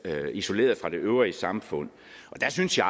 er isoleret fra det øvrige samfund og der synes jeg